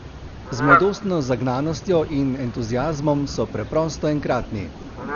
Z mladostno zagnanostjo in entuziazmom so preprosto enkratni.